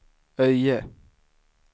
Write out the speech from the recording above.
Öje